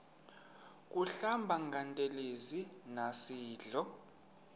kuhlamba ngantelezi nasidlo